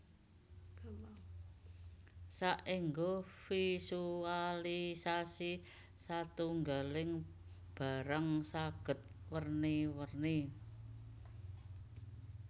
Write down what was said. Saéngga visualisasi satunggaling barang saged werni werni